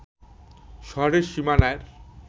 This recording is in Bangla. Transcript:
শহরের সীমানার